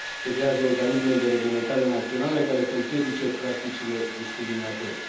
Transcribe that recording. Se creează organisme de reglementare naționale care să împiedice practicile discriminatorii.